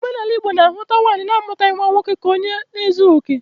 Omenala Igbo na-ahụ nwaanyi na-amutaghi nwa nwoke ka onye na ezughi oke.